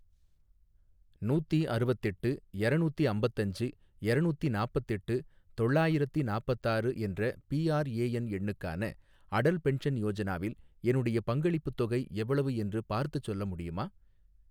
நூத்தி அருவத்தெட்டு எரநூத்தி அம்பத்தஞ்சு எரநூத்தி நாப்பத்தெட்டு தொள்ளாயிரத்தி நாப்பத்தாறு என்ற பிஆர்ஏஎன் எண்ணுக்கான அடல் பென்ஷன் யோஜனாவில் என்னுடைய பங்களிப்புத் தொகை எவ்வளவு என்று பார்த்துச் சொல்ல முடியுமா?